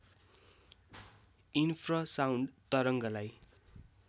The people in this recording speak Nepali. इन्फ्रसाउण्ड तरङ्गलाई